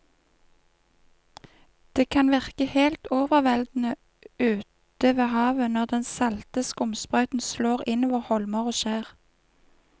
Det kan virke helt overveldende ute ved havet når den salte skumsprøyten slår innover holmer og skjær.